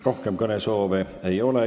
Rohkem kõnesoove ei ole.